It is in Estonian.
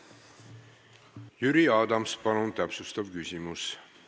Jüri Adams, palun täpsustav küsimus!